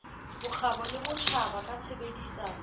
bokgabo le botjhaba ka tshebedisano